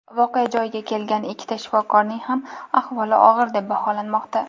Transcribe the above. voqea joyiga kelgan ikkita shifokorning ham ahvoli og‘ir deb baholanmoqda.